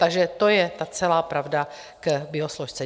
Takže to je ta celá pravda k biosložce.